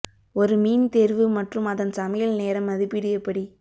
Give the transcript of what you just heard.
ஒரு மீன் தேர்வு மற்றும் அதன் சமையல் நேரம் மதிப்பீடு எப்படி